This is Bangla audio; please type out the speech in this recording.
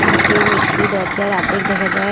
কাসের একটি দরজার আদ্ধেক দেখা যায়।